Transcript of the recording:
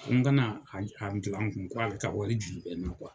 Ko n ka na a bila n kun ko ale ka wari juru bɛ n na